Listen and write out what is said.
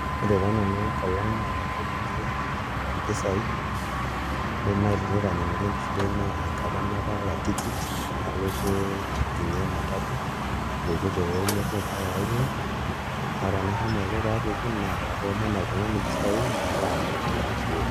Ore taa nanu enkolong' naatagolikio mpisaai naai naitanyamala enkishui ai naa enkata natala tikit nalotie ajing'ie ematatu apuku te wuei nebo mpaka ai wuei naa ore enashomo aiko pee apuku naa katoomono oltung'ani mpisaai nalo alotie nashukoki.